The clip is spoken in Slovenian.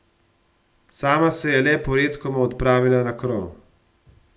Sama se je le poredkoma odpravila na krov.